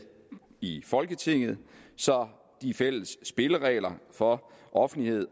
i folketinget så de fælles spilleregler for offentlighed